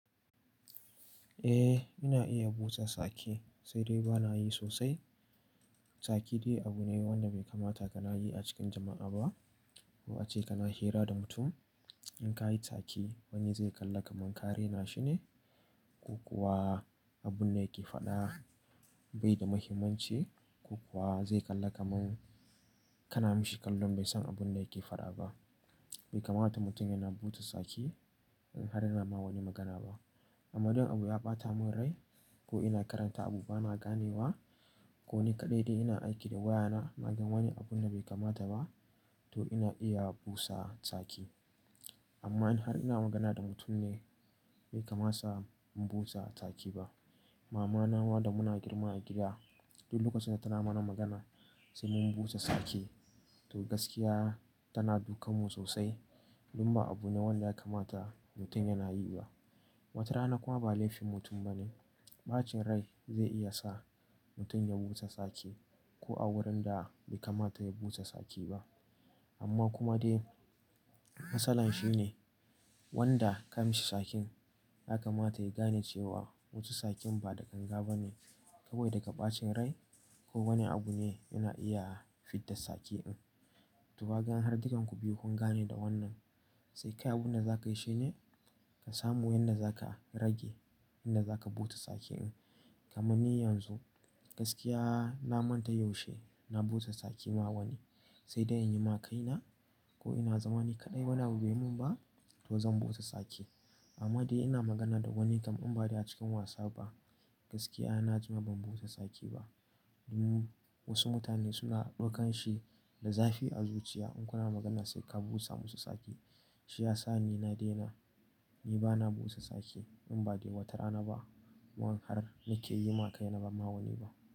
Eh, ina iya busa sake sai dai ba na yi sosai. Saki dai abu ne wanda bai kamata ka na yi a cikin jama'a ba. Ko ace kana hira da mutum in ka yi tsakei wani zai kalla ka man ka raina shi ne. Ko kuwa abun da yake faɗa bai da mahimmanci ko kuwa zai kalla ka man kana mashi kallon bai san abun da yake faɗa ba. Bai kamata mutum yana busa tsaki in har ina ma wani magana ba. Amma idan abu ya ɓata min rai ko ina karanta abu bana gane wa ko ni kaɗai dai ina aiki da wayana naga wani abun da bai kamata ba to ina iya busa tsaki amma in har ina magana da mutum ne bai kamata in busa sake ba. Mama na ma da muna girma a gida duk lokaci da tana mana magana sai mun busa tsaki to gaskiya tana duka mu sosai domin ba abu ne wanda ya kamata mutum yana yi ba. Wata rana kuma ba laifin mutum bane, ɓacin rai zai iya sa mutum ya busa tsaki ko a wurin da bai kamata ya busa tsaki ba. Amma kuma dai matsalar shi ne wanda ka mishi tsakin ya ka mata ya gane cewa wace tsakin ba da ga waje na bane. Saboda daga ɓacin rai ko wani abu ne ina iya fidda tsaki ɗin. To ka gan har dukan ku biyun kun gane da wannan sai kai abun da za ka yi shine ka samu wanda za ka rage yanda za ka busa tsaki ɗin. Kaman ni yanzu gaskiya na manta yaushe na busa tsaki ma wani sai dai in yi ma kaina ko ina zama ni kaɗai wan bai yi min ba to zan busa tsaki. Amma dai ina magana da wani kam in ba dai a cikin wasa ba gaskiya na ji ma ban busa tsaki ba. Domin wasu mutane suna ɗaukan shi da zafi a zuciya in kuna magana sai ka busa musu tsaki. Shi ya sa ni na daina, ni bana busa tsaki in ba dai wata rana ba wanda har na ke yi ma kaina ba ma wani ba.